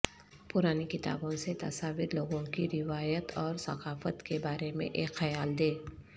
پرانی کتابوں سے تصاویر لوگوں کی روایت اور ثقافت کے بارے میں ایک خیال دے